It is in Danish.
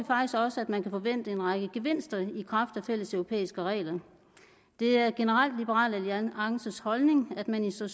også at man kan forvente en række gevinster i kraft af fælleseuropæiske regler det er generelt liberal alliances holdning at man i så